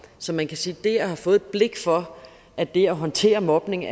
så man kan sige at det at have fået et blik for at det at håndtere mobning